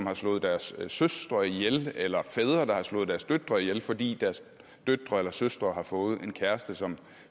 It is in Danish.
har slået deres søstre ihjel eller hvor fædre der har slået deres døtre ihjel fordi deres døtre eller søstre havde fået en kæreste som